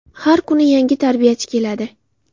Har kuni yangi tarbiyachi keladi.